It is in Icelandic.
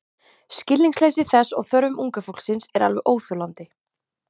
Skilningsleysi þess á þörfum unga fólksins er alveg óþolandi.